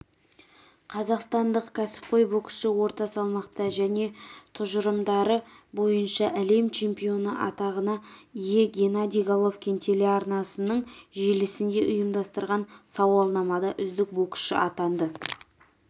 қазақстандық кәсіпқой боксшы орта салмақта және тұжырымдары бойынша әлем чемпионы атағына ие геннадий головкин телеарнасының желісінде ұйымдастырған сауалнамада үздік боксшы атанды